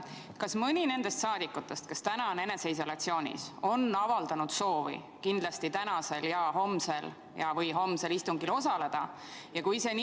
Kas mõni nendest rahvasaadikutest, kes täna on eneseisolatsioonis, on avaldanud soovi tänasel või homsel istungil kindlasti osaleda?